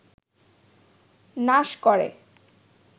নাশ করে